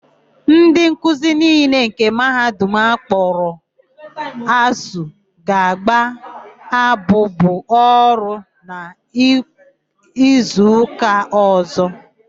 Ndị nkuzi niile nke Mahadum akpọrọ ASUU ga-agba abụbụ ọrụ na izuụka ọ̀zọ́.